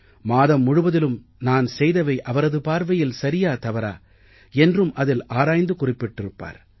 மாதம் முழுவதிலும் நான் செய்தவை அவரது பார்வையில் சரியா தவறா என்றும் அதில் ஆராய்ந்து குறிப்பிடப்பட்டிருப்பார்